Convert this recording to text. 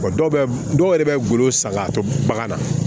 Wa dɔw bɛ dɔw yɛrɛ bɛ golo san k'a to bagan na